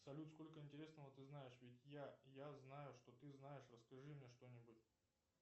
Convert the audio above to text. салют сколько интересного ты знаешь ведь я я знаю что ты знаешь расскажи мне что нибудь